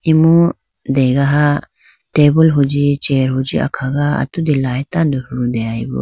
imu degeha tabool huji chair huji akhaga atudi light tando hudeyibo.